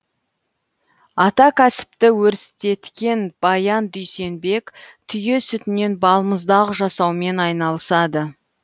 ата кәсіпті өрістеткен баян дүйсенбек түйе сүтінен балмұздақ жасаумен айналысады